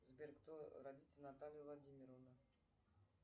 сбер кто родители натальи владимировны